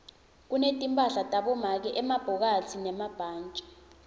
kunetimphahla tabomake emabhokathi nemabhantji